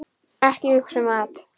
Ekki hugsa um mat!